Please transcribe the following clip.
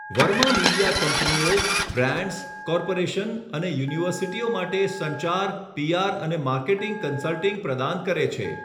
Verma media કંપનીઓ, brands, corporation અને યુનિવર્સિટીઓ માટે સંચાર, પીઆર અને માર્કેટિંગ કન્સલ્ટિંગ પ્રદાન કરે છે.